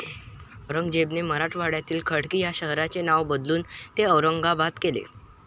औरंगझेबाने मराठवाड्यातील खडकी या शहराचे नाव बदलून ते औरंगाबाद केले.